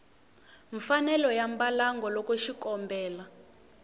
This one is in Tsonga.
mfanelo ya mbalango loko xikombelo